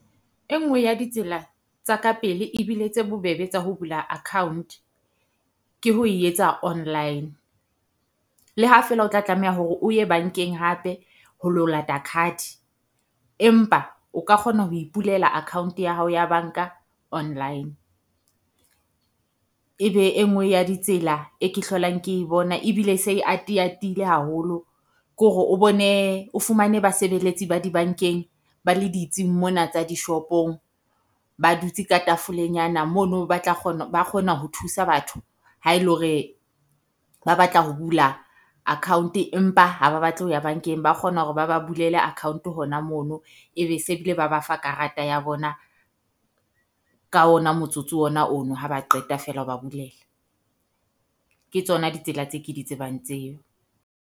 E nngwe ya ditsela tsa ka pele ebile tse bobebe tsa ho bula account, ke ho e etsa online. Le ha feela o tla tlameha hore o ye bankeng hape ho lo lata card, empa o ka kgona ho ipulela account ya hao ya banka online. Ebe e nngwe ya ditsela e ke hlolang ke bona ebile se ati-atile haholo, ko re o bone o fumane basebeletsi ba dibankeng ba le ditsing mona tsa dishopong ba dutse ka tafolenyana mono. Ba tla kgona ba kgona ho thusa batho ha e le hore ba batla ho bula account empa ha ba batle ho ya bankeng. Ba kgona hore ba ba bulele account hona mono ebe se bile ba ba fa karata ya bona ka ona motsotso ona ono ha ba qeta feela ho ba bulela. Ke tsona ditsela tse ke di tsebang tseo.